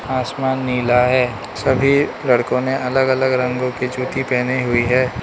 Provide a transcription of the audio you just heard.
आसमान नीला है। सभी लड़कों ने अलग-अलग रंगों की जूती पहनी हुई है।